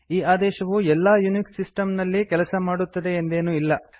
ಈ ಆದೇಶವು ಎಲ್ಲಾ ಯುನಿಕ್ಸ್ ಸಿಸ್ಟಮ್ ನಲ್ಲಿ ಕೆಲಸ ಮಾಡುತ್ತದೆ ಎಂದೇನೂ ಇಲ್ಲ